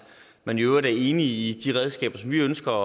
man i øvrigt er enig i de redskaber som vi ønsker